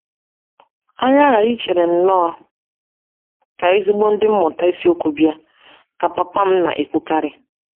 “ Anyị aghaghị ichere nnọọ ka ezigbo ndị mmụta Ịsiokwu bịa, ” ka papa m na - ekwukarị.